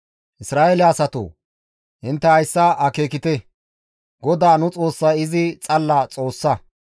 Isra7eele asatoo! Intte hayssa akeekite! GODAA nu Xoossay izi xalla Xoossa.